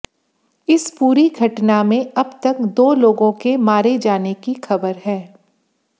इस पूरी घटना में अब तक दो लोगों के मारे जाने की खबर है